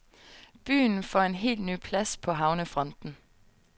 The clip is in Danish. Byen får en helt ny plads på havnefronten.